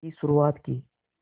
की शुरुआत की